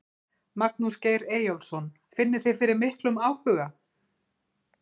Magnús Geir Eyjólfsson: Finnið þið fyrir miklum áhuga?